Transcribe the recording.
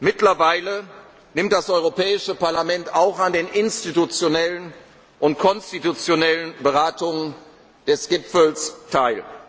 Mittlerweile nimmt das Europäische Parlament auch an den institutionellen und konstitutionellen Beratungen der Gipfel